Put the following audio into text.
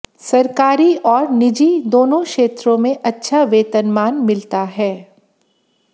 सरकारी और निजी दोनों क्षेत्रों में अच्छा वेतनमान मिलता है